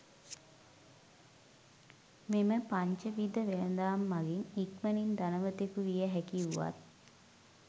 මෙම පංච විධ වෙළදාම් මඟින් ඉක්මනින් ධනවතෙකු විය හැකි වුවත්